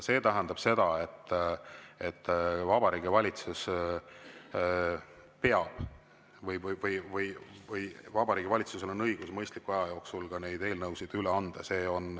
See tähendab seda, et Vabariigi Valitsus peab või Vabariigi Valitsusel on õigus mõistliku aja jooksul neid eelnõusid üle anda.